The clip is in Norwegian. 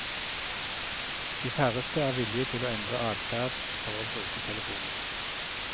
De færreste er villige til å endre adferd for å bruke telefonen.